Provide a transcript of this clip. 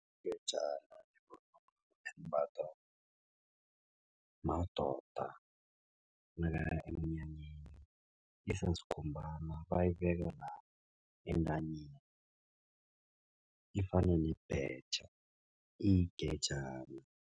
Ingejana yivunulo elimbathwa madoda nakaya emnyanyeni isasikhumbana bayibeka la entanyeni ifana nebhetjha iyigejana.